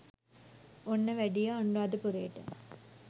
ඔන්න වැඩියා අනුරාධපුරේට